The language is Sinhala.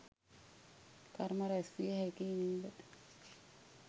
කර්ම රැස් විය හැකියි නේද?